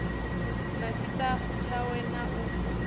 na ṱshitafu tshawe na u